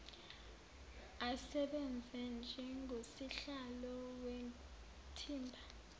asebenze njengosihlalo wethimba